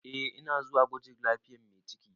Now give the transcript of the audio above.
Eh ina zuwa gwajin lafiyar mai ciki.